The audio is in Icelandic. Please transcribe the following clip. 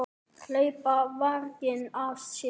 Hlaupa varginn af sér.